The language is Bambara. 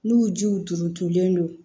N'u jiw turutolen don